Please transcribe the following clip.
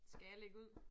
Skal jeg lægge ud?